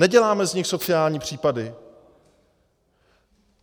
Neděláme z nich sociální případy.